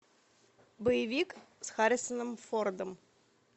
боевик с харрисоном фордом